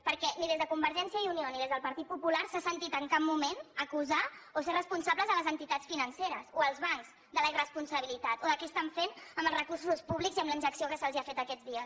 perquè ni des de convergència i unió ni des del partit popular s’ha sentit en cap moment acusar o fer responsables les entitats financeres o els bancs de la irresponsabilitat o de què estan fent amb els recursos públics i amb la injecció que se’ls ha fet aquests dies